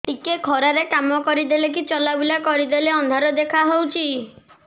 ଟିକେ ଖରା ରେ କାମ କରିଦେଲେ କି ଚଲବୁଲା କରିଦେଲେ ଅନ୍ଧାର ଦେଖା ହଉଚି